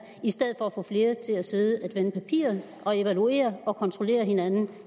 i stedet for at få flere til at sidde vende papirer og evaluere og kontrollere hinanden